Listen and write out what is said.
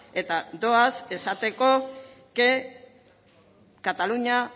eta doaz esateko que cataluña